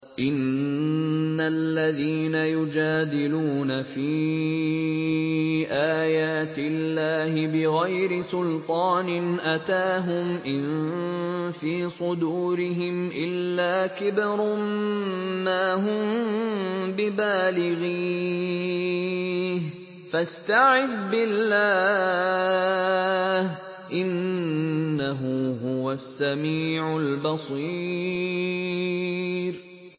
إِنَّ الَّذِينَ يُجَادِلُونَ فِي آيَاتِ اللَّهِ بِغَيْرِ سُلْطَانٍ أَتَاهُمْ ۙ إِن فِي صُدُورِهِمْ إِلَّا كِبْرٌ مَّا هُم بِبَالِغِيهِ ۚ فَاسْتَعِذْ بِاللَّهِ ۖ إِنَّهُ هُوَ السَّمِيعُ الْبَصِيرُ